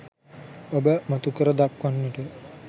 ඔබ මතුකර දක්වන්නට